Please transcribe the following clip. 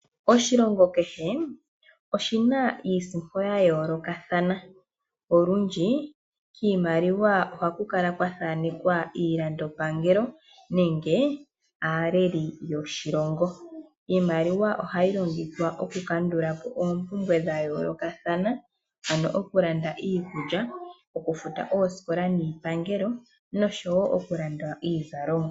Oshilongo kehe oshina iisimpo ya yoolokathana, olundji kiimaliwa ohaku kala kwa thaanekwa iilandopangelo nenge aaleli yoshilongo. Iimaliwa ohayi longithwa oku kandula po oompumbwe dha yoolokathana, ano oku landa iikulya, okufuta oosikola niipangelo nosho wo okulanda iizalomwa.